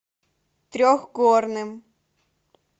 трехгорным